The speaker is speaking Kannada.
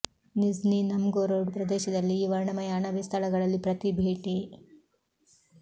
ನಿಜ್ನಿ ನವ್ಗೊರೊಡ್ ಪ್ರದೇಶದಲ್ಲಿ ಈ ವರ್ಣಮಯ ಅಣಬೆ ಸ್ಥಳಗಳಲ್ಲಿ ಪ್ರತಿ ಭೇಟಿ